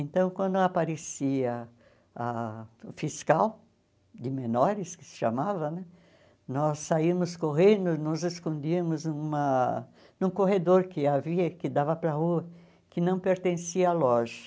Então, quando aparecia ah o fiscal de menores, que se chamava né, nós saímos correndo, nos escondíamos numa num corredor que havia, que dava para a rua, que não pertencia à loja.